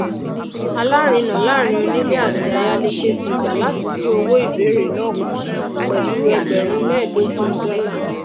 alárinà láàrin onílé àti ayálégbé ti gbà láti dín owó ìbéèrè náà kù pèlú ẹgbèrún méèdógún dólà